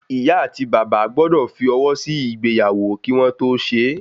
ìyá ati bàbá gbọ́dọ̀ fi ọwọ sí ìgbéyàwó kí wọ́n tó ṣe